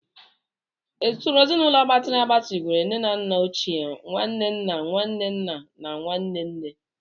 Usoro ezinaụlọ gbatịrị agbatị gụnyere nne na nna ochie, nwanne nna, nwanne nna, na nwanne nne.